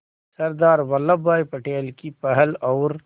सरदार वल्लभ भाई पटेल की पहल और